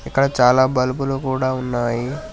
అక్కడ చాలా బల్బులు కూడా ఉన్నాయి .